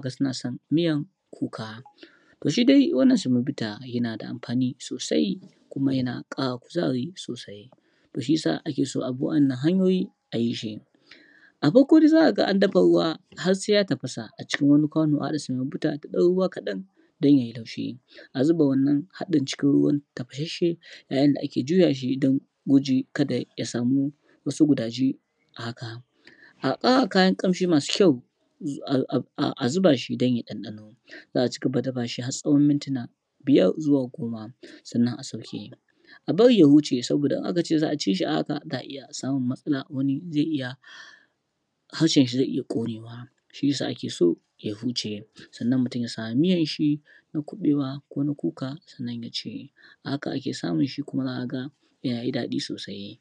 faɗace-fadace. Cin abincin gargajiya yana da amfani sosai kuma yana ƙara kuzari da lafiya sosai-sosai